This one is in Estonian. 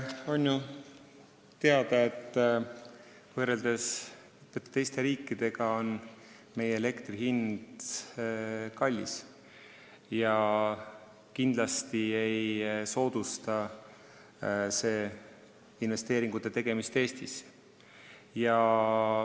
On ju teada, et võrreldes teiste riikidega on meie elektri hind kõrge ja kindlasti ei soodusta see Eestisse investeeringute tegemist.